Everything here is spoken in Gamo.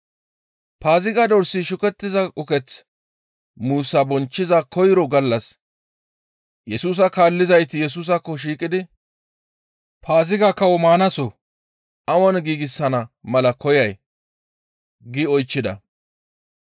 Paaziga dorsi shukettiza uketh muussa bonchchiza koyro gallas Yesusa kaallizayti Yesusaakko shiiqidi, «Paaziga kawo maanaso awan giigsana mala koyay?» gi oychchida.